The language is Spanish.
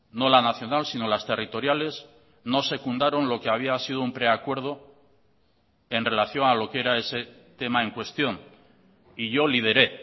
no la nacional sino las territoriales no secundaron lo que había sido un preacuerdo en relación a lo que era ese tema en cuestión y yo lideré